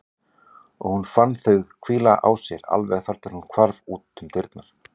Og hún fann þau hvíla á sér alveg þar til hún hvarf út um dyrnar.